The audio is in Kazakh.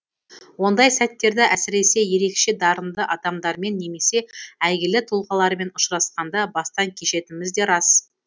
ондай сәттерді әсіресе ерекше дарынды адамдармен немесе әйгілі тұлғалармен ұшырасқанда бастан кешетініміз де рас